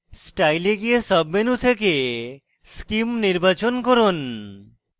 style এ গিয়ে sub menu থেকে scheme নির্বাচন করুন